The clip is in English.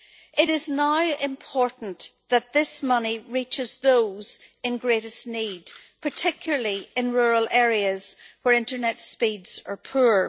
It is now important that this money reaches those in greatest need, particularly in rural areas where internet speeds are poor.